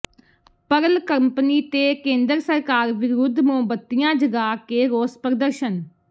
Pearl company ਤੇ ਕੇਂਦਰ ਸਰਕਾਰ ਵਿਰੁੱਧ ਮੋਮਬੱਤੀਆਂ ਜਗ੍ਹਾ ਕੇ ਰੋਸ ਪ੍ਰਦਰਸ਼ਨ